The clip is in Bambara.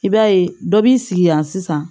I b'a ye dɔ b'i sigi yan sisan